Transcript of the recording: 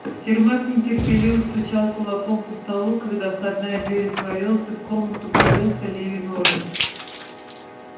сермак нетерпеливо стучал кулаком по столу когда входная дверь отворилась и в комнату ввалился леви нораст